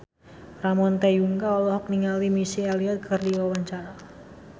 Ramon T. Yungka olohok ningali Missy Elliott keur diwawancara